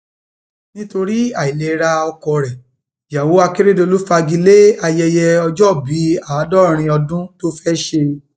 nítorí àìlera ọkọ rẹ ìyàwó akérèdọlù fagi lé ayẹyẹ ọjọòbí àádọrin ọdún tó fẹẹ ṣe